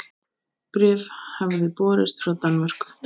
Bréf hafði borist frá Danmörku.